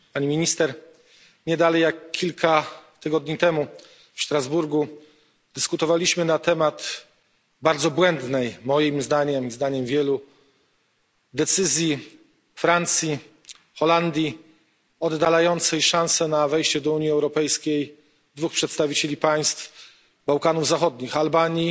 Nie dalej jak kilka tygodni temu w Strasburgu dyskutowaliśmy na temat bardzo błędnej, moim zdaniem i zdaniem wielu, decyzji Francji, Holandii oddalającej szanse na wejście do Unii Europejskiej dwóch przedstawicieli państw Bałkanów Zachodnich Albanii